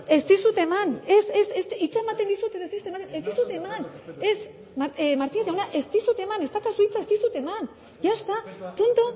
ez dizut eman ez ez ez hitza ematen dizut edo ez dizut ematen ez dizut eman ez martínez jauna ez dizut eman ez daukazu hitza ez dizut eman ya está punto